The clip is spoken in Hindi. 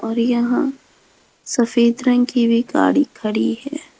और यहां सफेद रंग की भी गाड़ी खड़ी है।